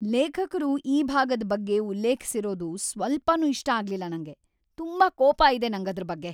ಲೇಖಕ್ರು ಈ ಭಾಗದ್ ಬಗ್ಗೆ ಉಲ್ಲೇಖ್ಸಿರೋದು ಸ್ವಲ್ಪನೂ ಇಷ್ಟ ಆಗ್ಲಿಲ್ಲ ನಂಗೆ.. ತುಂಬಾ ಕೋಪ ಇದೆ ನಂಗದ್ರ್‌ ಬಗ್ಗೆ.